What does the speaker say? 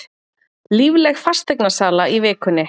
Lífleg fasteignasala í vikunni